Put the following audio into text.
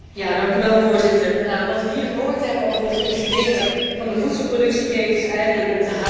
Voorzitter, wat we hier gehoord hebben over het functioneren van de voedselproductieketen is eigenlijk om te huilen.